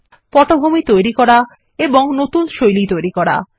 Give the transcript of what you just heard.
পটভূমি তৈরি করা এবং নতুন শৈলী তৈরি করুন